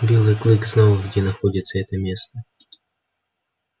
белый клык знал где находится это место